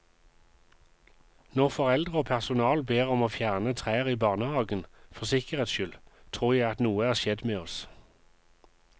Når foreldre og personal ber om å fjerne trær i barnehagen for sikkerhetens skyld tror jeg at noe er skjedd med oss.